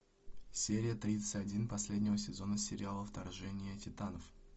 серия тридцать один последнего сезона сериала вторжение титанов